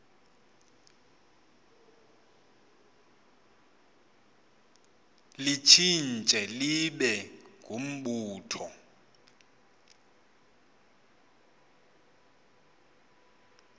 litshintshe libe ngumbutho